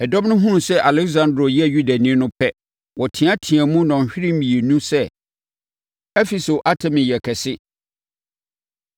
Ɛdɔm no hunuu sɛ Aleksandro yɛ Yudani no pɛ, wɔteateaam nnɔnhwere mmienu sɛ, “Efeso Artemi yɛ kɛse!”